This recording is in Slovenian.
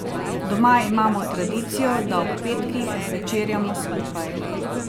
Doma imamo tradicijo, da ob petkih večerjamo skupaj.